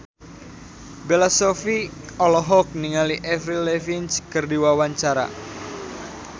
Bella Shofie olohok ningali Avril Lavigne keur diwawancara